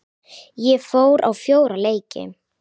Ég fór á fjóra leiki.